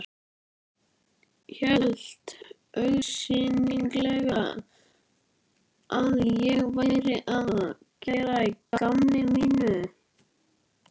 Hélt augsýnilega að ég væri að gera að gamni mínu.